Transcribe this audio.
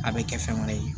A bɛ kɛ fɛn wɛrɛ ye